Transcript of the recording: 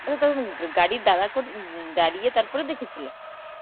আচ্ছা তখন গাড়ি দাঁড়া করি~ উম দাঁড়িয়ে তারপর দেখে ছিলে?